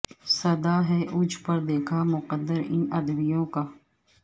سدا ہے اوج پر دیکھا مقدر ان ادیبوں کا